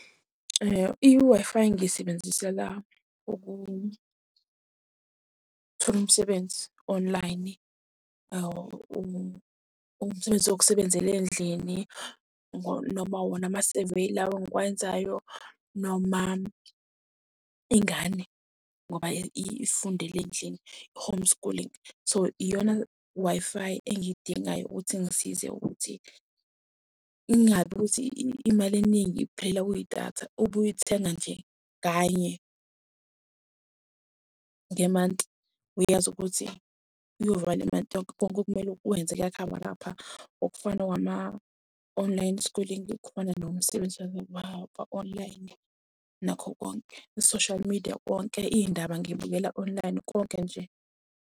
I-Wi-Fi ngiyisebenzisela ukuthola umsebenzi online. Umsebenzi wokusebenzela endlini noma wona ama-survey lawa engiwenzayo noma ingane, ngoba ifundela endlini, i-home schooling. So, iyona Wi-Fi engiy'dingayo ukuthi ingisize ukuthi ingabi ukuthi imali eningi iphelela kwidatha. Ubuy'thenga nje kanye ngemanti, uyazi ukuthi uyovala imanti yonke, konke okumele ukwenze kuyakhavarapha. Okufana wama-online schooling, ukhona nomsebenzi wa-online. Nakho konke, i-social media wonke, iy'ndaba ngiy'bukela online, konke nje.